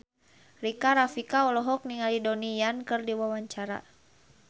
Rika Rafika olohok ningali Donnie Yan keur diwawancara